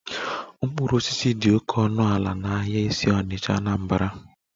Mkpụrụ osisi dị oke ọnụ ala n'ahịa isi onitcha, Anambra